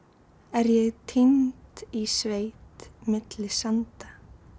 er ég týnd í sveit milli sanda